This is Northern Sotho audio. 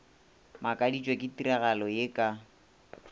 makaditšwe ke tiragalo ye ka